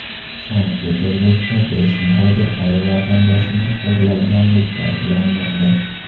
Sankt-Peterburgda besh muhojir ayol vatandoshini xo‘rlaganlikda ayblanmoqda.